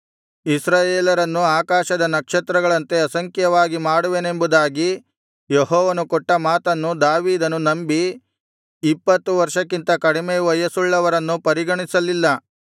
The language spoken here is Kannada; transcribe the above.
ಇಸ್ರಾಯೇಲರನ್ನು ಆಕಾಶದ ನಕ್ಷತ್ರಗಳಂತೆ ಅಸಂಖ್ಯವಾಗಿ ಮಾಡುವೆನೆಂಬುದಾಗಿ ಯೆಹೋವನು ಕೊಟ್ಟ ಮಾತನ್ನು ದಾವೀದನು ನಂಬಿ ಇಪ್ಪತ್ತು ವರ್ಷಕ್ಕಿಂತ ಕಡಿಮೆ ವಯಸ್ಸುಳ್ಳವರನ್ನು ಪರಿಗಣಿಸಲಿಲ್ಲ